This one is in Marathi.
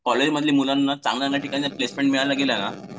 कॉलेजमधल्या मुलांना चांगल्या जागी जर प्लेसमेंट